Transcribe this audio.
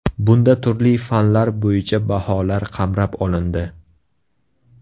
Bunda turli fanlar bo‘yicha baholar qamrab olindi.